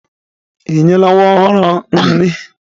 Ị nyela nwa ọhụrụ nri?